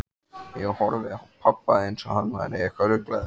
Ég horfði á pabba, einsog hann væri eitthvað ruglaður.